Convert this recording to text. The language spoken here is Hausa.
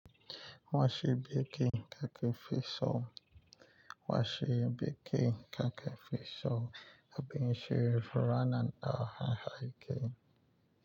Wa shi bikin ka ke fi so. Wa shi bikin kakaki fi so? Abin shiri furannin da hanhayke.